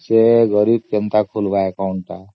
ସେ ଗରିବ କେମିତି account ଖୋଲିବ